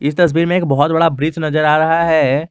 इस तस्वीर में एक बहुत बड़ा ब्रिज नजर आ रहा है।